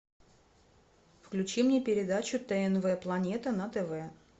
включи мне передачу тнв планета на тв